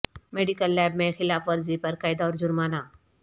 medical lab میں خلاف ورزی پر قید اور جرمانہ